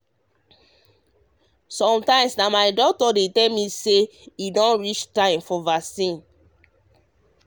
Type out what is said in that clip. sometimes na my doctor you sabi dey tell me when e me when e reach time for vaccine.